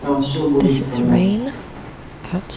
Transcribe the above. там всё будет в порядке